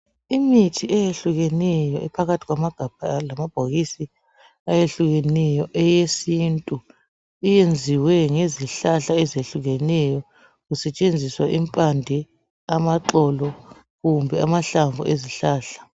Imithi eyehlukeneyo ephakathi kwamagabha lamabhokisi ayehlukeneyo eyesintu iyenziwe ngezihlahla ezihlukeneyo kusetshenziswa impande amaxolo kumbe amahlamvu ezihlahla